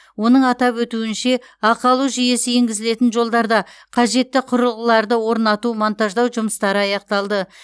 оның атап өтуінше ақы алу жүйесі енгізілетін жолдарда қажетті құрылғыларды орнату монтаждау жұмыстары аяқталды